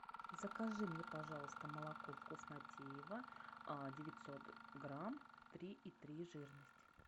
закажи мне пожалуйста молоко вкуснотеево девятьсот грамм три и три жирность